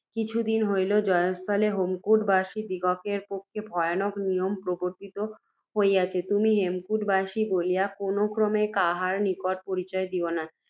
কিছু দিন হইল, জয়স্থলে হেমকূটবাসীদিগের পক্ষে ভয়ানক নিয়ম প্রবর্ত্তিত হইয়াছে। তুমি হেমকূটবাসী বলিয়া কোনও ক্রমে কাহারও নিকট পরিচয় দিও না।